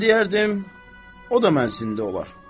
Mən deyərdim, o da mənsində olar.